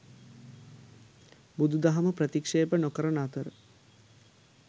බුදුදහම ප්‍රතික්ෂේප නොකරන අතර